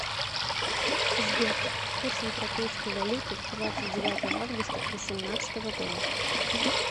сбер курс европейской валюты двадцать девятое августа восемнадцатого года